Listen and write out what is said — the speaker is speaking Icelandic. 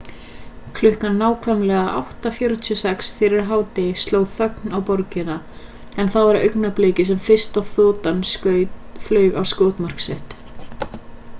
klukkan nákvæmlega 8:46 fyrir hádegi sló þögn á borgina en það var augnablikið sem fyrsta þotan flaug á skotmark sitt